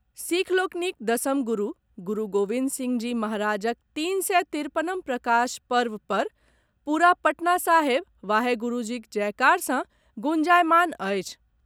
सिख लोकनिक दसम गुरु गुरु गोविंद सिंह जी महाराजक तीन सय तिरपनम प्रकाश पर्व पर पूरा पटना साहिब वाहे गुरूजीक जयकार सँ गुंजायमान अछि।